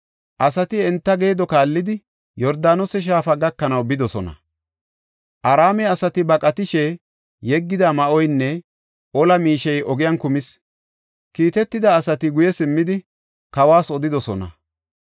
Asati enta geedo kaallidi, Yordaanose Shaafa gakanaw bidosona. Araame asati baqatishe yeggida ma7oynne ola miishey ogiyan kumis. Kiitetida asati guye simmidi, kawas odidosona.